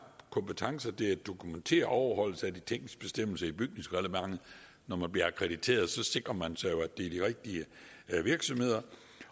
kompetencer til at dokumentere overholdelse af de tekniske bestemmelser i bygningsreglementet når man akkrediterer sikrer man sig jo at det er de rigtige virksomheder